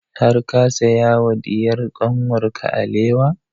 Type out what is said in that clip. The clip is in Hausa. Har ka saya wa diyar kanwar ka alewa?